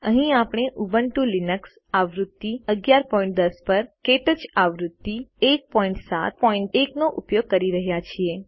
અહીં આપણે Ubuntu Linux આવૃત્તિ 1110 પર ક્ટચ આવૃત્તિ 171 નો ઉપયોગ કરી રહ્યા છીએ